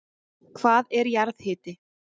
Hvað er jarðhiti?